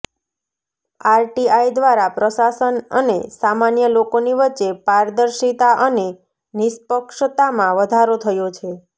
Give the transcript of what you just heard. RTI દ્વારા પ્રશાસન અને સામાન્ય લોકોની વચ્ચે પારદર્શિતા અને નિષ્પક્ષતામાં વધારો થયો છે